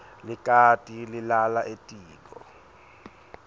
likati lilala etiko